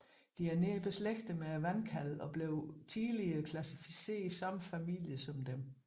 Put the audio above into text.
De er nært beslægtede med vandkalvene og blev tidligere klassificeret i samme familie som dem